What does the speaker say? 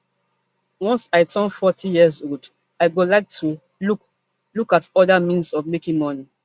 once i turn forty years old i go like to look look at oda means of making money